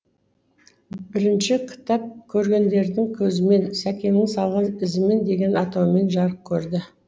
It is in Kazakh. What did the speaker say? бірінші кітап көргендердің көзімен сәкеннің салған ізімен деген атаумен жарық көрді